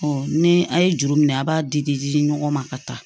ni a ye juru minɛ a b'a di di di ɲɔgɔn ma ka taa